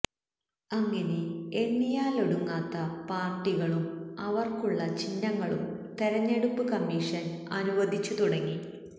അങ്ങിനെ എണ്ണിയാലൊടുങ്ങാത്ത പാര്ട്ടികളും അവര്ക്കുള്ള ചിഹ്നങ്ങളും തെരഞ്ഞെടുപ്പ് കമ്മിഷന് അനുവദിച്ചു തുടങ്ങി